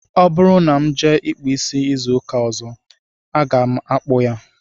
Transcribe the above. Ọ bụrụ na m jee ịkpụ isi izu ụka ọzọ, aga m akpọ ya